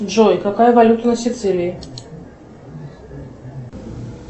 джой какая валюта на сицилии